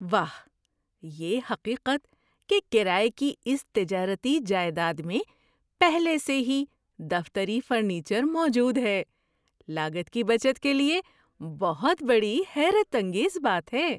واہ! یہ حقیقت کہ کرایے کی اس تجارتی جائیداد میں پہلے سے ہی دفتری فرنیچر موجود ہے، لاگت کی بچت کے لیے بہت بڑی حیرت انگیز بات ہے۔